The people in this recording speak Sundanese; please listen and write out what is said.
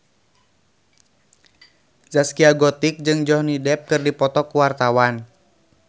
Zaskia Gotik jeung Johnny Depp keur dipoto ku wartawan